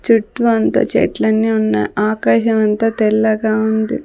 చుట్టూ అంతా చెట్లన్నీ ఉన్న ఆకాశం అంతా తెల్లగా ఉంది.